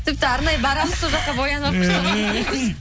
тіпті арнайы барамыз сол жаққа боянып